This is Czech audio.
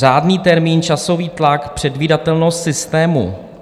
Řádný termín, časový tlak, předvídatelnost systému.